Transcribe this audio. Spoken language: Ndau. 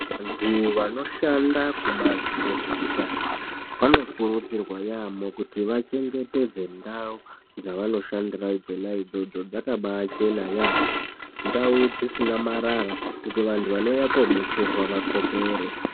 Vantu vanoshanda kubazi rezveutano vanokurudzirwa yaamho kuti vachengetedze ndau dzvanoshandira dzona idzodzo dzakabachena yaamho ndau dzisina marara kuti vantu vanouya kubetserwa vakopere.